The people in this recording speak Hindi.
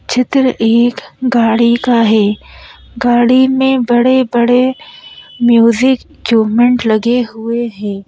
चित्र एक गाड़ी का है गाड़ी में बड़े-बड़े म्यूजिक इक्यूपमेंट लगे हुए हैं।